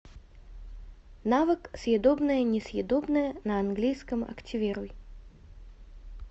навык съедобное несъедобное на английском активируй